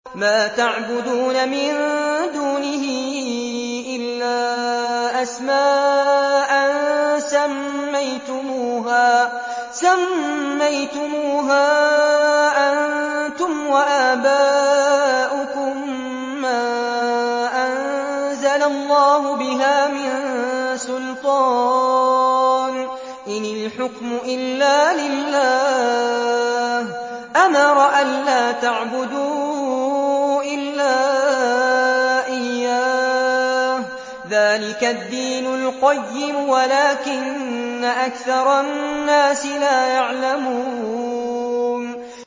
مَا تَعْبُدُونَ مِن دُونِهِ إِلَّا أَسْمَاءً سَمَّيْتُمُوهَا أَنتُمْ وَآبَاؤُكُم مَّا أَنزَلَ اللَّهُ بِهَا مِن سُلْطَانٍ ۚ إِنِ الْحُكْمُ إِلَّا لِلَّهِ ۚ أَمَرَ أَلَّا تَعْبُدُوا إِلَّا إِيَّاهُ ۚ ذَٰلِكَ الدِّينُ الْقَيِّمُ وَلَٰكِنَّ أَكْثَرَ النَّاسِ لَا يَعْلَمُونَ